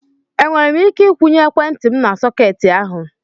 Enwere m ike ikwụnye ekwentị m na sọketi ahụ.